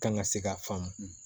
Kan ka se ka faamu